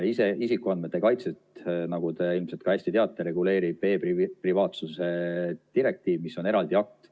Isikuandmete kaitset, nagu te ilmselt hästi teate, reguleerib e-privaatsuse direktiiv, mis on eraldi akt.